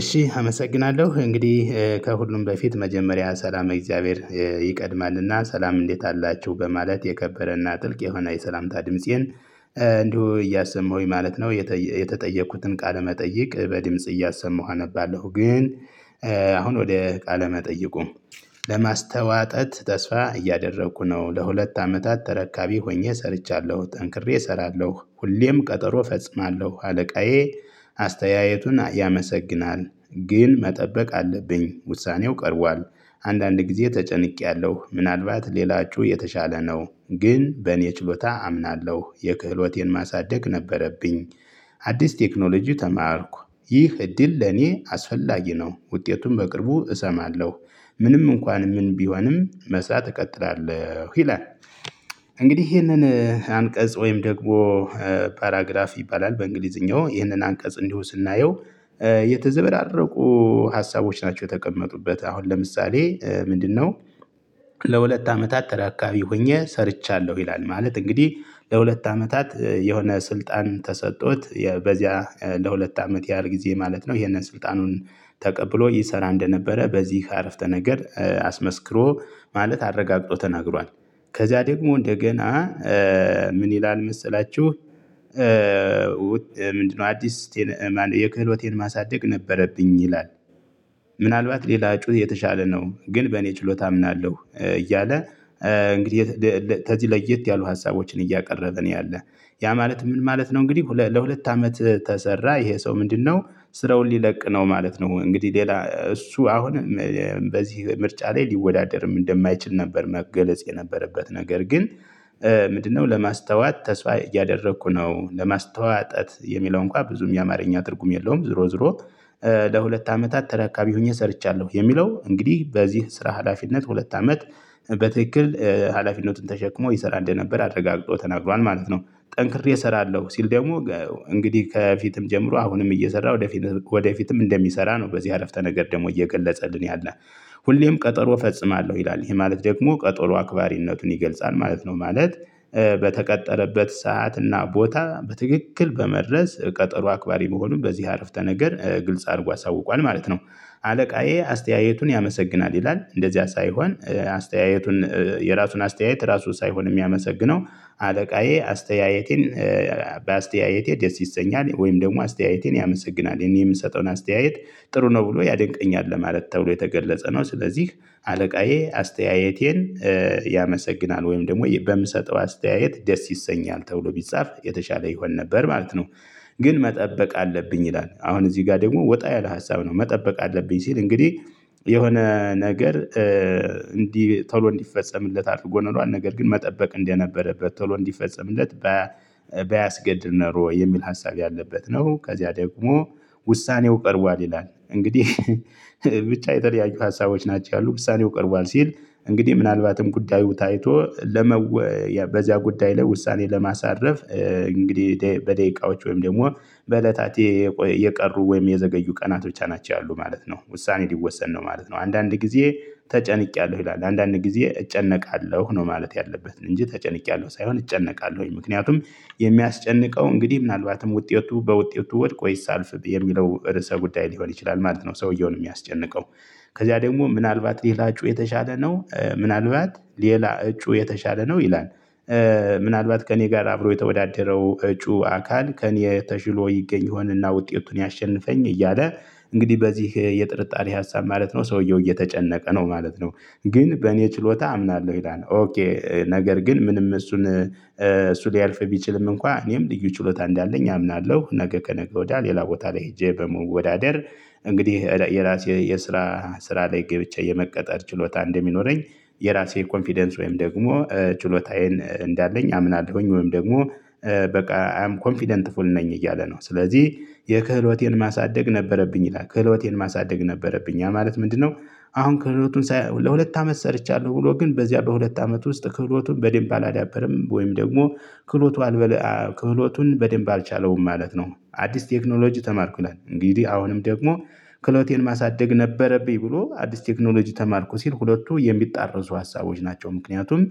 እሺ አመሰግናለሁ እንግዲህ ከሁሉም በፊት መጀመሪያ ሰላመ እግዚአብሔር ይቀድማልና ሰላም እንዴት አላችሁ በማለት የከበረና ጥልቅ የሆነ የሰላምታ ድምፄን እንዲሁ እያሰማሁኝ ማለት ነው። የተ የተጠየቅኩትን ቃለመጠየቅ በድምጽ እያሰማሁ አነባለሁ። ግን አሁን ወደ ቃለ መጠይቁ ለማስተዋጠት ተስፋ እያደረኩ ነው። ለሁለት አመታት ተረካቢ ሆኜ ሰርቻለሁ ጠንክሬ እሰራለሁ ሁሌም ቀጠሮ እፈጽማለሁ አለቃዬ አስተያየቱን ያመሰግናል። ግን መጠበቅ አለብኝ ውሳኔው ቀርቧል። አንዳንድ ጊዜ ተጨንቄያለሁ ምናልባት ሌላችሁ የተሻለ ነው። ግን በእኔ ችሎታ አምናለሁ የክህሎቴን ማሳደግ ነበረብኝ። አዲስ ቴክኖሎጂ ተማርኩ። ይህ እድል ለኔ አስፈላጊ ነው። ውጤቱን በቅርቡ እሰማለሁ። ምንም እንኳን ምን ቢሆንም መጻት እቀጥላለሁ ይላል። እንግዲህ ይህንን አንቀጽ ወይም ደግሞ ፓራግራፍ ይባላል። በእንግሊዝኛው ይህንን አንቀጽ እንዲሁ ስናየው የተዘበራረቁ ሀሳቦች ናቸው የተቀመጡበት አሁን ለምሳሌ ምንድነው? ለሁለት አመታት ተዳካቢ ሆኜ ሰርቻለሁ ይላል ማለት እንግዲህ። ለሁለት አመታት የሆነ ስልጣን ተሰጥቶት በዚያ ለሁለት አመት ያህል ጊዜ ማለት ነው። ይህንን ስልጣኑን ተቀብሎ ይሰራ እንደነበረ በዚህ አረፍተ ነገር አስመስክሮ ማለት አረጋግጦ ተናግሯል። ከዚያ ደግሞ እንደገና ምን ይላል መሰላችሁ? ምንድነው አዲስ ማነው የክህሎቴን ማሳደግ ነበረብኝ ይላል። ምናልባት ሌላ እጩ የተሻለ ነው ግን በእኔ ችሎታ አምናለሁ እያለ። እንግዲህ ተዚ ለየት ያሉ ሀሳቦችን እያቀረበ ነው ያለው። ያ ማለት ምን ማለት ነው እንግዲህ ለሁለት አመት ተሰራ ይሄ ሰው ምንድነው? ስራውን ሊለቅ ነው ማለት ነው። እንግዲህ ሌላ እሱ አሁን በዚህ ምርጫ ላይ ሊወዳደርም እንደማይችል ነበር መገለጽ የነበረበት ነገር ግን። ምንድነው ለማስተዋት ተስፋ እያደረኩ ነው ለማስተዋጠት የሚለውን እንኳን ብዙም የአማርኛ ትርጉም የለውም ዝሮ ዝሮ። ለሁለት አመታት ተራካቢ ሆኜ ሰርቻለሁ የሚለው እንግዲህ በዚህ ስራ ሀላፊነት ሁለት አመት በትክክል ሀላፊነቱን ተሸክሞ ይሰራ እንደነበር አረጋግጦ ተናግሯል ማለት ነው። ጠንክሬ እሰራለሁ ሲል ደግሞ እንግዲህ ከፊትም ጀምሮ አሁንም እየሰራ ወደፊት ወደፊትም እንደሚሰራ ነው በዚህ አረፍተ ነገር ደግሞ እየገለጸልን ያለ። ሁሌም ቀጠሮ ፈጽማለሁ ይላል ይሄ ማለት ደግሞ ቀጠሎ አክባሪነቱን ይገልጻል ማለት ነው ማለት። በተቀጠረበት ሰዓት እና ቦታ በትክክል በመድረስ ቀጠሮ አክባሪ መሆኑን በዚህ አረፍተ ነገር ግልጽ አድርጎ አሳውቋል ማለት ነው። አለቃዬ አስተያየቱን ያመሰግናል ይላል እንደዚያ ሳይሆን አስተያየቱን የራሱን አስተያየት ራሱ ሳይሆን የሚያመሰግነው። አለቃዬ አስተያየቴን በአስተያየቴ ደስ ይሰኛል ወይም ደግሞ አስተያየቴን ያመሰግናል እኔ የምሰጠውን አስተያየት። ጥሩ ነው ብሎ ያደንቀኛል ለማለት ተብሎ የተገለጸ ነው። ስለዚህ አለቃዬ አስተያየቴን ያመሰግናል ወይም ደግሞ በምሰጠው አስተያየት ደስ ይሰኛል ተብሎ ቢጻፍ የተሻለ ይሆን ነበር ማለት ነው። ግን መጠበቅ አለብኝ ይላል አሁን እዚህ ጋር ደግሞ ወጣ ያለ ሀሳብ ነው መጠበቅ አለብኝ ሲል እንግዲህ። የሆነ ነገር እንዲህ ቶሎ እንዲፈጸምለት አድርጎ ነው የሚለው ነገር ግን መጠበቅ እንደነበረበት ቶሎ እንዲፈጸምለት። ባያስገድል ኖሮ የሚል ሀሳብ ያለበት ነው። ከዚያ ደግሞ ውሳኔው ቀርቧል ይላል እንግዲህ። ብቻ የተለያዩ ሀሳቦች ናቸው ያሉ ምሳሌው ቀርቧል ሲል። እንግዲህ ምናልባትም ጉዳዩ ታይቶ ለመወ በዚያ ጉዳይ ላይ ውሳኔ ለማሳረፍ እንግዲህ በደቂቃዎች ወይም ደግሞ በእለታቴ የቀሩ ወይም የዘገዩ ቀናቶች ናቸው ያሉ ማለት ነው። ውሳኔ ሊወሰን ነው ማለት ነው። አንዳንድ ጊዜ ተጨንቄያለሁ ይላል አንዳንድ ጊዜ እጨነቃለሁ ነው ማለት ያለበትን እንጂ ተጨንቄያለሁ ሳይሆን እጨነቃለሁኝ ምክንያቱም። የሚያስጨንቀው እንግዲህ ምናልባትም ውጤቱ በውጤቱ ወድቆ ይሳልፍ የሚለው ርዕሰ ጉዳይ ሊሆን ይችላል ማለት ነው። ሰውየውን የሚያስጨንቀው ከዚያ ደግሞ ምናልባት ሊላችሁ የተሻለ ነው ምናልባት ሌላ እጩ የተሻለ ነው ይላል። ምናልባት ከእኔ ጋር አብሮ የተወዳደረው እጩ አካል ከእኔ ተሽሎ ይገኝ ይሆንና ውጤቱን ያሸንፈኝ እያለ። እንግዲህ በዚህ የጥርጣሬ ሀሳብ ማለት ነው ሰውየው እየተጨነቀ ነው ማለት ነው። ግን በእኔ ችሎታ አምናለሁ ይላል ኦኬ ነገር ግን ምንም እሱን እሱ ሊያልፍ ቢችልም እንኳን እኔም ልዩ ችሎታ እንዳለኝ አምናለሁ ነገ ከነገ ወዲያ ሌላ ቦታ ላይ ሄጄ በመወዳደር እንግዲህ የራሴ የስራ ስራ ላይ ገብቼ የመቀጠር ችሎታ እንደሚኖረኝ። የራሴ ኮንፊደንስ ወይም ደግሞ ችሎታዬን እንዳለኝ አምናለሁኝ ወይም ደግሞ። በቃ አይ አም ኮንፊደንትፉል ነኝ እያለ ነው ስለዚህ። የክህሎቴን ማሳደግ ነበረብኝ ይላል ከህሎቴን ማሳደግ ነበረብኝ ማለት ምንድነው? አሁን ክህሎቱን ለሁለት አመት ሰርቻለሁ ብሎ ግን በዚያ በሁለት አመት ውስጥ ክህሎቱን አላዳበረም ወይም ደግሞ ክፍሎቱ አልበለ ክፍሎቱን በደንብ አልቻለውም ማለት ነው። አዲስ ቴክኖሎጂ ተማርኩናል እንግዲህ አሁንም ደግሞ ክሎቴን ማሳደግ ነበረብኝ ብሎ አዲስ ቴክኖሎጂ ተማርኩ ሲል ሁለቱ የሚጣረሱ ሀሳቦች ናቸው። ምክንያቱም